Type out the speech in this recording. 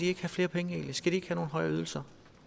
ikke have flere penge skal de ikke høje ydelser